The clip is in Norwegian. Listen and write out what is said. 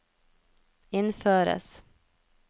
innføres